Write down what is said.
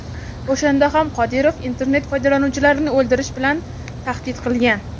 O‘shanda ham Qodirov internet foydalanuvchilarini o‘ldirish bilan tahdid qilgan.